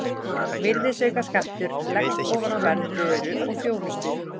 Virðisaukaskattur leggst ofan á verð vöru og þjónustu.